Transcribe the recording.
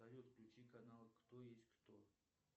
салют включи канал кто есть кто